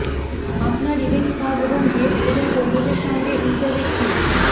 আপনার ইভেন্ট কাজ এবং গেস্ট এবং কর্মীদের সঙ্গে ইন্টারেক্টিং